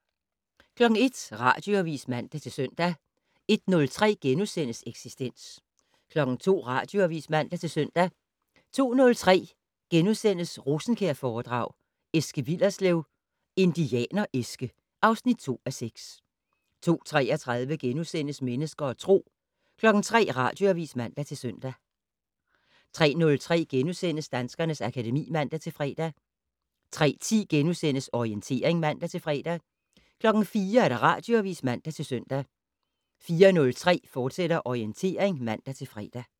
01:00: Radioavis (man-søn) 01:03: Eksistens * 02:00: Radioavis (man-søn) 02:03: Rosenkjærforedrag: Eske Willerslev - Indianer-Eske (2:6)* 02:33: Mennesker og Tro * 03:00: Radioavis (man-søn) 03:03: Danskernes akademi *(man-fre) 03:10: Orientering *(man-fre) 04:00: Radioavis (man-søn) 04:03: Orientering, fortsat (man-fre)